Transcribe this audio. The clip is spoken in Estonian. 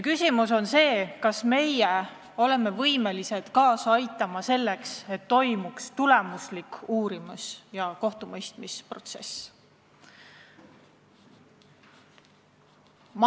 Nüüd on küsimus, kas meie oleme võimelised kaasa aitama sellele, et toimuks tulemuslik uurimis- ja kohtumõistmisprotsess.